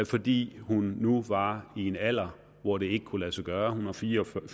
fordi hun nu var i en alder hvor det ikke kunne lade sig gøre hun var fire og fyrre